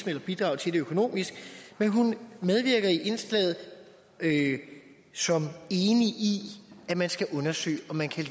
eller bidrage til det økonomisk men hun medvirker i indslaget som enig i at man skal undersøge om man kan